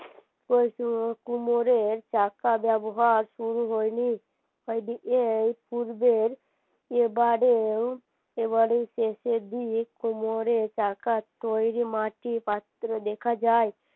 কুমোরের চাকা ব্যবহার শুরু হয়নি তাই এই পূর্বের এবারেও এবারেও শেষের দিক কুমোরের চাকার তৈরী মাটির পাত্র দেখা যায়